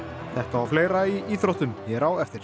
þetta og fleira í íþróttum hér á eftir